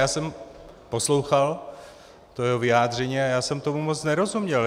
Já jsem poslouchal jeho vyjádření a já jsem tomu moc nerozuměl.